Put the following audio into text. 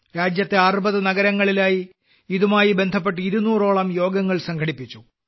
രാജ്യത്തെ 60 നഗരങ്ങളിലായി ഇതുമായി ബന്ധപ്പെട്ട് ഇരുന്നൂറോളം യോഗങ്ങൾ സംഘടിപ്പിച്ചു